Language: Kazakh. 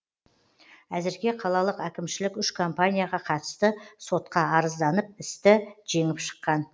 әзірге қалалық әкімшілік үш компанияға қатысты сотқа арызданып істі жеңіп шыққан